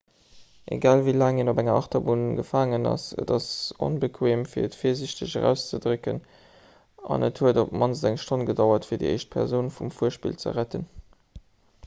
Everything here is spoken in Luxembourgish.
egal wéi laang een op enger achterbunn gefaangen ass et ass onbequeem fir et virsiichteg auszedrécken an et huet op d'mannst eng stonn gedauert fir déi éischt persoun vum fuerspill ze retten